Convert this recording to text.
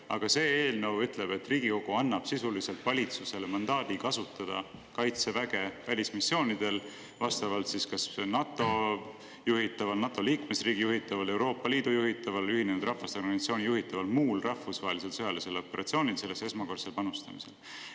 Aga see eelnõu ütleb, et Riigikogu annab sisuliselt valitsusele mandaadi kasutada kaitseväge välismissioonidel, vastavalt siis kas NATO juhitaval, NATO liikmesriigi juhitaval, Euroopa Liidu juhitaval, Ühinenud Rahvaste Organisatsiooni juhitaval või muul rahvusvahelisel sõjalisel operatsioonil sellesse esmakordsel panustamisel.